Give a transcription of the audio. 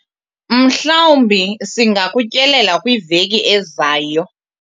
mhlawumbi singakutyelela kwiveki ezayo